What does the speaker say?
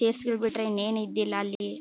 Chairs ಗಳು ಬಿಟ್ಟರೆ ಏನು ಇದ್ದಿಲ್ಲಾ ಅಲ್ಲಿ.